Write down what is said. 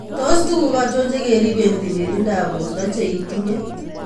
Tos tuguk achon chekiripeen tililindap borto che itinye?